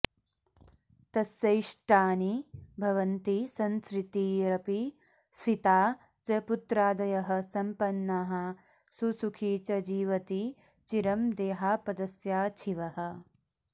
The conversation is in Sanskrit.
तस्येष्टानि भवन्ति संसृतिरपि स्फीता च पुत्रादयः सम्पन्नाः सुसुखी च जीवति चिरं देहापदस्याच्छिवः